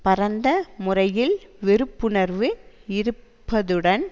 பரந்த முறையில் வெறுப்புணர்வு இருப்பதுடன்